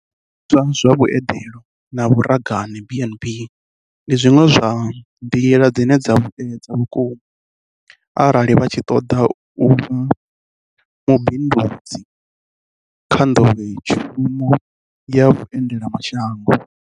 Zwiimiswa zwa vhueḓelo na vhuragane, B and B, ndi zwiṅwe zwa nḓila dzine dza vhuedza vhuku ma arali vha tshi ṱoḓa u vha mubindudzi kha nḓowetshu mo ya vhuendelamashango.